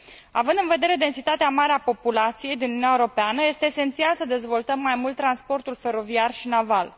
Având în vedere densitatea mare a populației din Uniunea Europeană, este esențial să dezvoltăm mai mult transportul feroviar și naval.